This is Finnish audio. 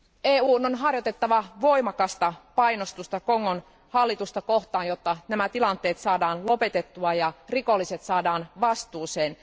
EUn on harjoitettava voimakasta painostusta Kongon hallitusta kohtaan, jotta tämä tilanne saadaan lopetettua ja rikolliset saadaan vastuuseen.